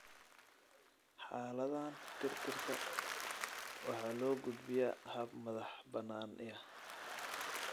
Xaaladahan, tirtirka waxaa loo gudbiyaa hab madax-bannaani ah.